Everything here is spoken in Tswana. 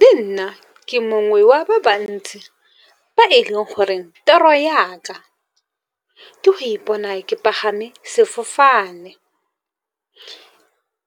Le nna ke mongwe wa ba bantsi ba e leng goreng toro ya ka ke go ipona ke pagame sefofane.